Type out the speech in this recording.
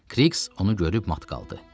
Kriks onu görüb mat qaldı.